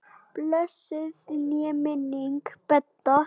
Blessuð sé minning Bedda.